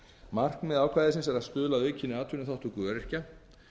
markmið ákvæðisins er að stuðla að aukinni atvinnuþátttöku öryrkja